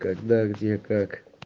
когда где как